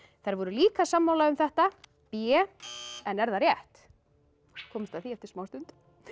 þær voru líka sammála um þetta b en er það rétt komumst að því eftir smá stund